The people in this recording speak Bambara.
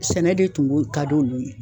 Sɛnɛ de tun be ka di olu ye.